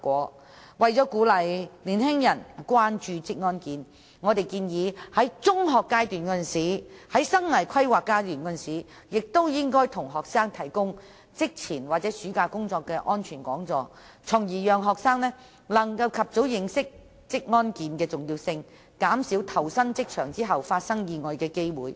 此外，為鼓勵年輕人關注職安健，我們建議在中學階段的生涯規劃教育中向學生提供職前或有關暑期工作的安全講座，從而讓學生能及早認識職安健的重要性，以期減少他們在投身職場後發生意外的機會。